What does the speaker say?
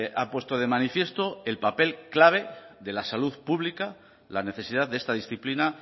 ha puesto de manifiesto el papel clave de la salud pública la necesidad de esta disciplina